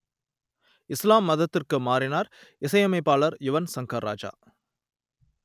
இசுலாம் மதத்திற்கு மாறினார் இசையமைப்பாளர் யுவன் சங்கர் ராஜா